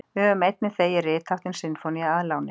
Við höfum einnig þegið ritháttinn sinfónía að láni.